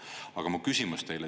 Aga mu küsimus teile.